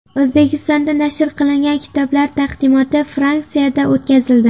O‘zbekistonda nashr qilingan kitoblar taqdimoti Fransiyada o‘tkazildi.